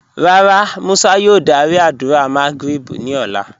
Rárá, Musa yòò dàrí àdúrà Magrib ni ọ̀lá